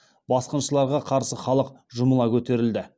басқыншыларға қарсы халық жұмыла көтерілді